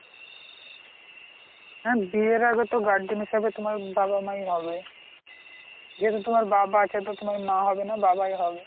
হ্যাঁ বিয়ের আগে তো guardian হিসেবে তোমার বাবা মাই হবে, যেহেতু তোমার বাবা তোমার মা হবে না বাবাই হবে।